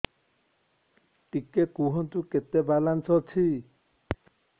ଟିକେ କୁହନ୍ତୁ କେତେ ବାଲାନ୍ସ ଅଛି